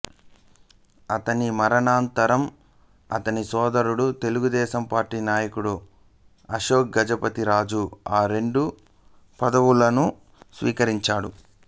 అతని మరణానంతరం అతని సోదరుడు తెలుగుదేశం పార్టీ నాయకుడు అశోక్ గజపతి రాజు ఆ రెండు పదవులను స్వీకరించాడు